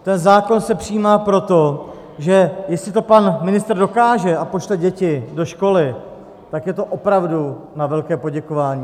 Ten zákon se přijímá proto, že jestli to pan ministr dokáže a pošle děti do školy, tak je to opravdu na velké poděkování.